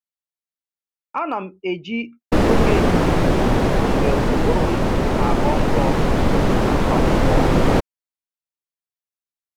Ana m eji oge ehihie mgbe ụbụrụ m na-aghọ nkọ agụ akwụkwọ